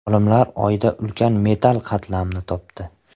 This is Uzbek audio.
Olimlar Oyda ulkan metall qatlamni topdi.